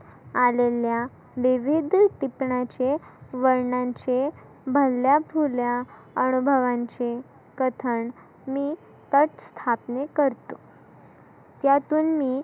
आलेल्या विविध टिपनीचे वर्णनचे भल्या थोर्ल्या अनुभवांचे कथन मी पथ स्थापने करतो. त्यातुन मी